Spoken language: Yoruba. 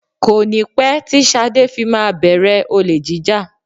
Kọ́ni pé tí Sade fi máa bẹ̀rẹ̀ olè jíjà